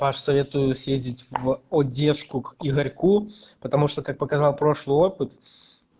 паш советую съездить в одёжку к игорьку потому что как показал прошлый опыт